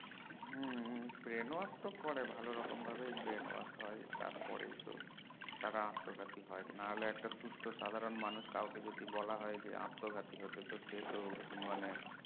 হম Brain wash তো করে ভালো রকম ভাবে Brain wash হয় তার পরেই তো তারা আত্মঘাতী হয় না হলে একটা সুস্থ সাধারন মানুষ কাউকে বলা হয় যে আত্মঘাতী হতে সে তো মানে